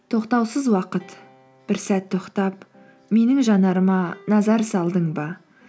тоқтаусыз уақыт бір сәт тоқтап менің жанарыма назар салдың ба